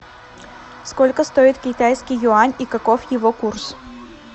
сколько стоит китайский юань и каков его курс